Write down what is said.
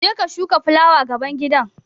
Je ka shuka fulawa gaban gida!